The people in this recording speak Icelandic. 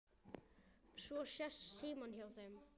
Svo sest Símon hjá þeim